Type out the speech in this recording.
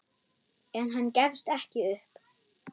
En hann gefst ekki upp.